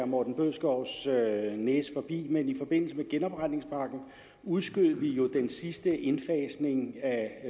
morten bødskovs næse forbi men i forbindelse med genopretningspakken udskød vi jo den sidste indfasning af